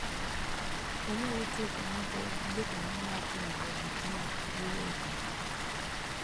wanyalo tiyo kanyakla gi jokanyo mar riwruog jii giwegi